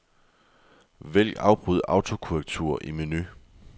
Vælg afbryd autokorrektur i menu.